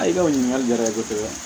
Ayi o ɲininkali diyara n ye kosɛbɛ